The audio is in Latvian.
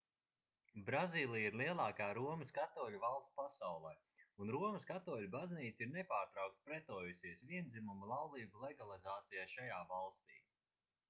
brazīlija ir lielākā romas katoļu valsts pasaulē un romas katoļu baznīca ir nepārtraukti pretojusies viendzimuma laulību legalizācijai šajā valstī